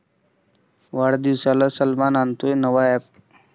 वाढदिवसाला सलमान आणतोय नवा अॅप